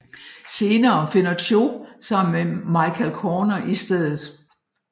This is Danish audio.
Senere finder Cho sammen med Michael Corner i stedet